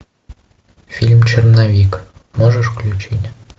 фильм черновик можешь включить